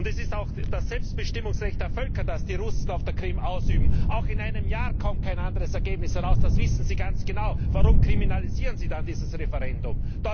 Es ist auch das Selbstbestimmungsrecht der Völker, das die Russen auf der Krim ausüben. Auch in einem Jahr kommt kein anderes Ergebnis heraus, das wissen Sie ganz genau. Warum kriminalisieren Sie dann dieses Referendum?